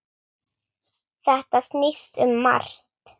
Þetta snýst um margt.